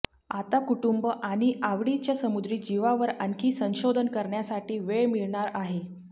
आता कुटुंब आणि आवडीच्या समुद्री जीवावर आणखी संशोधन करण्यासाठी वेळ मिळणार आहे